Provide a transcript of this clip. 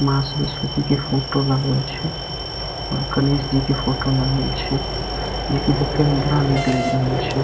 माँ सरस्वती के फोटो लागल छे और गणेश जी के फोटो लागल छे। ई के देखे में बड़ा निक लग रहल छे।